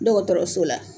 Dɔgɔtɔrɔso la